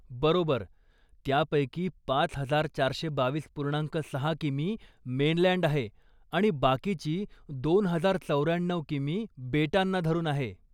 बरोबर, त्यापैकी पाच हजार चारशे बावीस पूर्णांक सहा की.मी. मेनलँड आहे आणि बाकीची दोन हजार चौऱ्याण्णऊ की.मी. बेटांना धरून आहे.